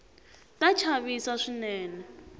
ta chavisa swinene